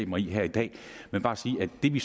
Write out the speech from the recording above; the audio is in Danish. mig i her i dag men bare sige at det vi